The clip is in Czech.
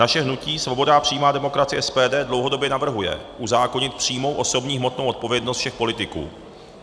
Naše hnutí Svoboda a přímá demokracie - SPD dlouhodobě navrhuje uzákonit přímou osobní hmotnou odpovědnost všech politiků.